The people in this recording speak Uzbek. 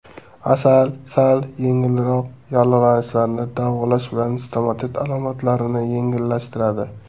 Asal sal yengilroq yallig‘lanishlarni davolash bilan stomatit alomatlarini yengillashtiradi.